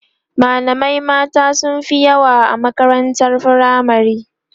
malamai mata sunfi yawa a makarantar firamare